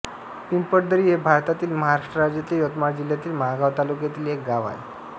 पिंपळदरी हे भारतातील महाराष्ट्र राज्यातील यवतमाळ जिल्ह्यातील महागांव तालुक्यातील एक गाव आहे